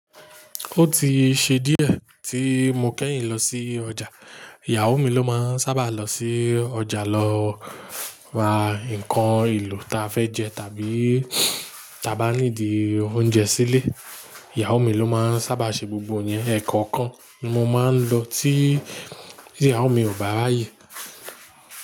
Ó ti ṣe díẹ̀ tí mo kẹ́yìn lọ sí ọjà. Ìyàwó mi ló máa ń sábà lọ sí ọjà lọ ra nǹkan èlò ta fẹ́ jẹ tàbí ta bá níìdi oúnjẹ sílé. Ìyàwó mi ló máa ń sábà ṣe gbogbo iyẹn ẹkọ́ọ̀kan ni mo máa ń lọ tí Ìyàwó mi ò bá ráàyè.